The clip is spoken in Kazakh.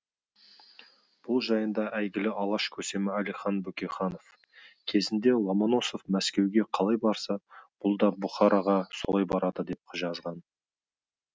бұл жайында әйгілі алаш көсемі әлихан бөкейханов кезінде ломоносов мәскеуге қалай барса бұл да бұхараға солай барды деп жазған